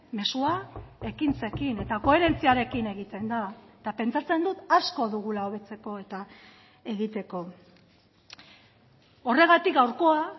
mezua ekintzekin eta koherentziarekin egiten da eta pentsatzen dut asko dugula hobetzeko eta egiteko horregatik gaurkoa